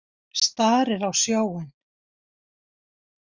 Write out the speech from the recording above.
Starir á sjóinn.